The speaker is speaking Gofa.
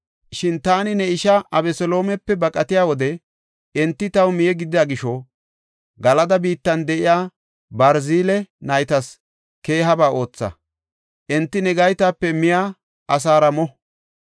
“Shin taani ne isha Abeseloomepe baqatiya wode enti taw miye gidida gisho, Galada biittan de7iya Barzile naytas keehaba ootha; enti ne gaytape miya asaara mo.